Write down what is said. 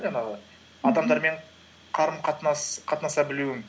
жаңағы адамдармен қатынаса білуің